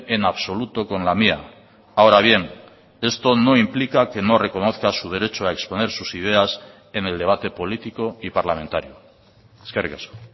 en absoluto con la mía ahora bien esto no implica que no reconozca su derecho a exponer sus ideas en el debate político y parlamentario eskerrik asko